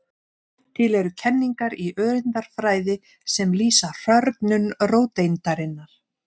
Til eru kenningar í öreindafræði sem lýsa hrörnun róteindarinnar.